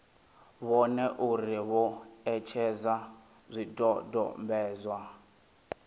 vhone uri vho etshedza zwidodombedzwa